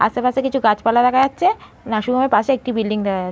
আশেপাশে কিছু গাছপালা দেখা যাচ্ছে। নার্সিং হোমের পাশে একটি বিল্ডিং দেখা যা--